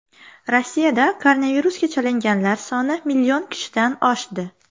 Rossiyada koronavirusga chalinganlar soni million kishidan oshdi.